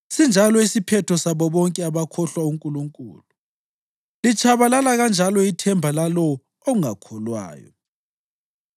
Sinjalo isiphetho sabo bonke abakhohlwa uNkulunkulu; litshabalala kanjalo ithemba lalowo ongakholwayo.